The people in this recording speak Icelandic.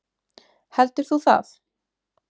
Heldur þú það?